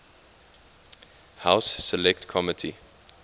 house select committee